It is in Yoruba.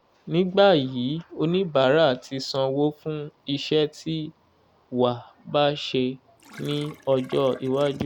nígbà yìí oníbàárà tí sanwó fún iṣẹ́ tí wàá ba ṣe ní ọjọ́ iwájú